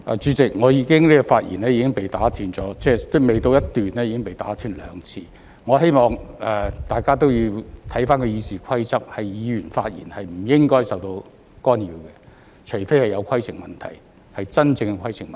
主席，我的發言未到一段已經被打斷兩次，我希望大家也要看回《議事規則》，議員發言是不應該受到干擾的，除非是有規程問題，即真正的規程問題。